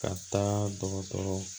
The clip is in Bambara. Ka taa dɔgɔtɔrɔ